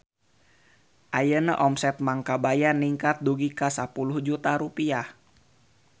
Ayeuna omset Mang Kabayan ningkat dugi ka 10 juta rupiah